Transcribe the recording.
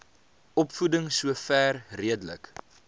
opvoeding sover redelik